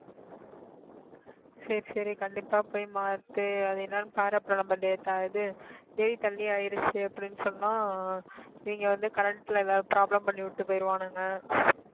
சரி சரி கண்டிப்பா போய் மாத்து அது என்னான்னு பாரு அப்புறம் இவங்க வந்து current ல ஏதாவது problem பண்ணிவிட்டு போயிருவானுங்க